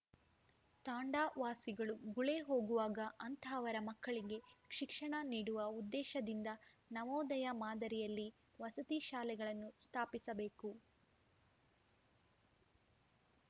ತಾಂಡಾ ವಾಸಿಗಳು ಗುಳೇ ಹೋಗುವಾಗ ಅಂತಹವರ ಮಕ್ಕಳಿಗೆ ಶಿಕ್ಷಣ ನೀಡುವ ಉದ್ದೇಶದಿಂದ ನವೋದಯ ಮಾದರಿಯಲ್ಲಿ ವಸತಿ ಶಾಲೆಗಳನ್ನು ಸ್ಥಾಪಿಸಬೇಕು